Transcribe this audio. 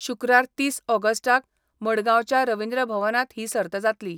शुक्रार तीस ऑगस्टाक मडगावच्या रवींद्र भवनात ही सर्त जातली.